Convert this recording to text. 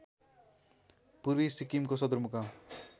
पूर्वी सिक्किमको सदरमुकाम